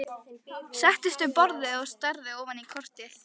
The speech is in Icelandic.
Settist við borðið og starði ofan í kortið.